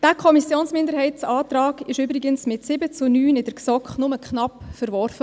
Dieser Kommissionsminderheitsantrag wurde mit 7 zu 9 Stimmen übrigens nur knapp in der GSoK verworfen.